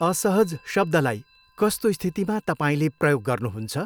असहज शब्दलाई कस्तो स्थितिमा तपाईँले प्रयोग गर्नुहुन्छ?